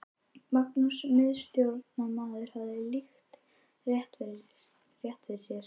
Magnús miðstjórnarmaður hafði líka rétt fyrir sér.